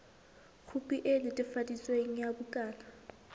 khopi e netefaditsweng ya bukana